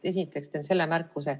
Esiteks teen selle märkuse.